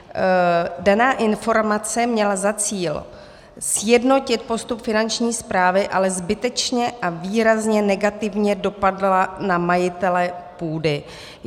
Daná informace měla za cíl sjednotit postup Finanční správy, ale zbytečně a výrazně negativně dopadla na majitele půdy.